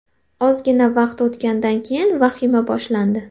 Ozgina vaqt o‘tgandan keyin vahima boshlandi.